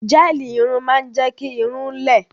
Gẹ́ẹ̀lì irun máa ń jẹ́ kí irun-ún lẹ